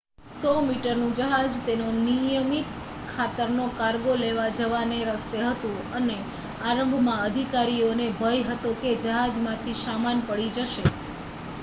100-મીટરનું જહાજ તેનો નિયમિત ખાતરનો કાર્ગો લેવા જવાના રસ્તે હતું અને આરંભમાં અધિકારીઓને ભય હતો કે જહાજમાંથી સામાન પડી જશે